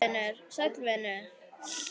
Sæll vinur